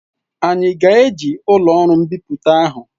Anyị ga-eji ụlọ ọrụ mbipụta ahụ?